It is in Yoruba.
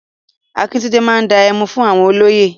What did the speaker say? Akíntúndé máa dá ẹmu fún àwọn olóyè.